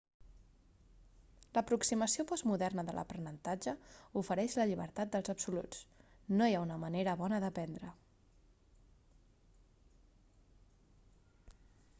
l'aproximació postmoderna de l'aprenentatge ofereix la llibertat dels absoluts no hi ha una manera bona d'aprendre